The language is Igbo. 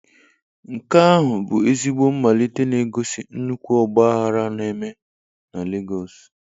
Nke ahụ bụ ezigbo mmalite na-egosi nnukwu ọgba aghara na-eme na Lagos.